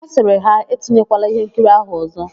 Ọ sịrị ha, "e tinyekwala íhénkiri áhụ̀ ọ̀zọ́"1